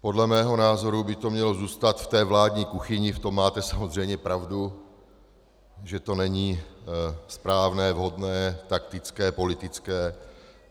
Podle mého názoru by to mělo zůstat v té vládní kuchyni, v tom máte samozřejmě pravdu, že to není správné, vhodné, taktické, politické.